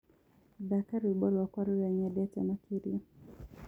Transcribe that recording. thaka rwĩmbo rwakwa rũrĩa nyendete makĩrĩa